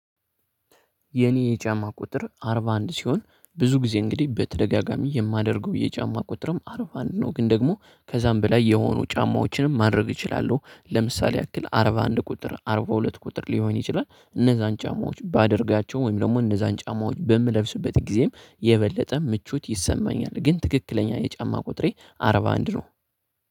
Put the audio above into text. የኔ የጫማ ቁጥር አርባ አንድ ሲሆን ብዙ ጊዜ እንግዲህ በተደጋጋሚ የማደርገው የጫማ ቁጥርም አርባ አንድ ነው። ግን ደግሞ ከዛም በላይ የሆኑ ጫማዎችንም ማድረግ ይችላሉ። ለምሳሌ ያክል አርባ አንድ ቁጥር አርባ ሁለት ቁጥር ሊሆን ይችላል። እነዛን ጫማዎች ባደርጋቸው ወይም ደግሞ እነዛን ጫማዎች በምለብስበት ጊዜም የበለጠ ምቹት ይሰማኛል። ግን ትክክለኛ የጫማ ቁጥሬ አርባ አንድ ነው